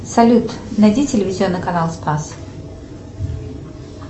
салют найди телевизионный канал спас